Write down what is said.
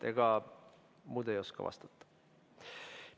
Ega muud ei oska vastata.